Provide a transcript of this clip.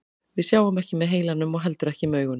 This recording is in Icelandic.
Við sjáum ekki með heilanum og heldur ekki með augunum.